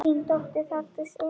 Þín dóttir, Þórdís Eva.